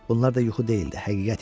Bunlar da yuxu deyildi, həqiqət idi.